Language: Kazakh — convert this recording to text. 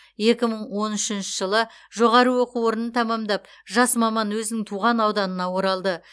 екі мың он үшінші жылы жоғары оқу орнын тәмамдап жас маман өзінің туған ауданына оралды